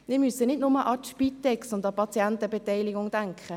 Wir müssen nicht nur an die Spitex und an die Patientenbeteiligung denken.